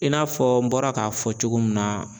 I n'a fɔ n bɔra k'a fɔ cogo mun na.